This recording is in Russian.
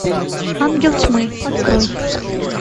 ангел тьмы открой